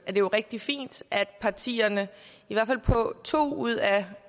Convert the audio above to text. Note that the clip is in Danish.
jo rigtig fint at partierne i hvert fald på to ud af